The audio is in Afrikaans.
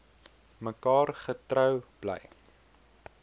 mekaar getrou bly